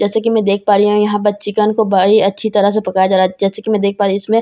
जैसा की मैं देख पा रही हूँ यहाँ पर चिकन को बड़ी अच्छी तरह से पकाया जा रहा है जैसा की मैं देख पा रही हूँ इसमें चिकन --